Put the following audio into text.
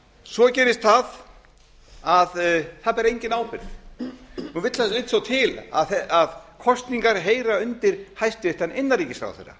svo gerist það að það ber enginn ábyrgð nú vill svo til að kosningar heyra undir hæstvirtur innanríkisráðherra